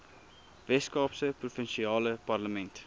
weskaapse provinsiale parlement